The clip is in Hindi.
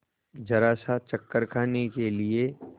जरासा चक्कर खाने के लिए